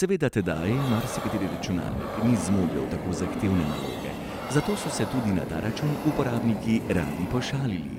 Seveda tedaj marsikateri računalnik ni zmogel tako zahtevne naloge, zato so se tudi na ta račun uporabniki radi pošalili: